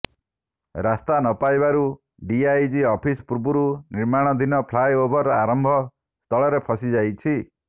ରାସ୍ତା ନପାଇବାରୁ DIG office ପୂର୍ବରୁ ନିର୍ମାଣଧିନ ଫ୍ଲାଏ ଓଭର ଆରମ୍ଭ ସ୍ଥଳରେ ଫସି ଯାଇଛି